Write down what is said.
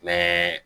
Mɛ